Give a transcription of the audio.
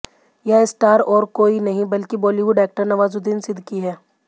यह स्टार और कोई नहीं बल्कि बॉलीवुड एक्टर नवाजुद्दीन सिद्दीकी हैं